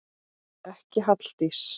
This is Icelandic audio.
Ekki Halldís